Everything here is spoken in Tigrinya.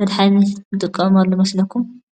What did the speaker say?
መድሓኒት ንጥቀመሉ መስለኩም ?